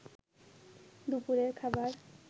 দুপুরের খাবার